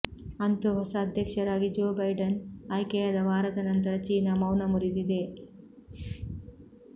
ಅಂತೂ ಹೊಸ ಅಧ್ಯಕ್ಷರಾಗಿ ಜೋ ಬೈಡನ್ ಆಯ್ಕೆಯಾದ ವಾರದ ನಂತರ ಚೀನಾ ಮೌನ ಮುರಿದಿದೆ